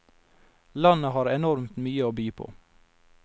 Landet har enormt mye å by på.